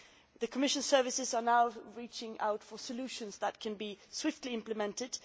The Commission's services are now reaching out for solutions which can be swiftly implemented.